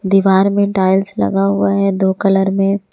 दीवार में टाइल्स लगा हुआ है दो कलर में ।